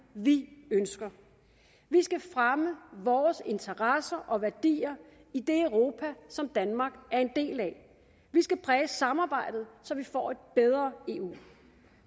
vi ønsker vi skal fremme vores interesser og værdier i det europa som danmark er en del af vi skal præge samarbejdet så vi får et bedre eu